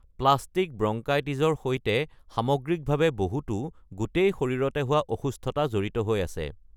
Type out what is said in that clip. Plastic ব্ৰংকাইটিছৰ সৈতে বহুটো সামগ্ৰিকভাৱে গোটেই শৰীৰতে হোৱা অসুস্থতা জড়িত হৈ আছে।